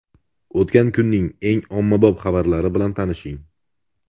O‘tgan kunning eng ommabop xabarlari bilan tanishing.